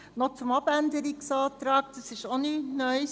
Noch zum Abänderungsantrag: Das ist nichts Neues;